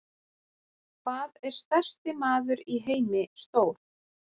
Hvað er stærsti maður í heimi stór?